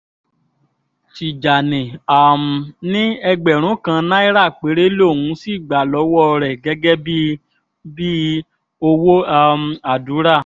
tìjànì um ní ẹgbẹ̀rún kan náírà péré lòún sì gbà lọ́wọ́ rẹ̀ gẹ́gẹ́ bíi bíi owó um àdúrà